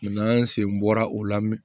an sen bɔra o la